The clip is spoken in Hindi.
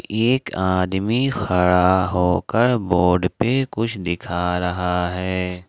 एक आदमी खड़ा होकर बोर्ड पे कुछ दिखा रहा है।